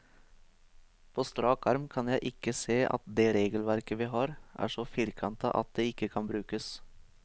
På strak arm kan jeg ikke se at det regelverket vi har, er så firkantet at det ikke kan brukes.